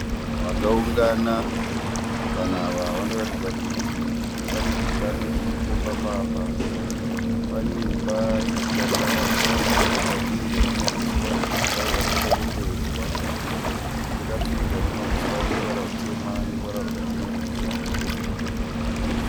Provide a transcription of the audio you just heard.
Vanhu vakaungana. Vanhu ava vanoratidza kuti pane gungano riripo pamba apa. Pane imba yakavakwa ikapfirirwa nemahuswa. Imba iyi yakaita dendedzwa. Yakapfirirwa namahuswa ane ruvara rutema neruvara rwakachenerukira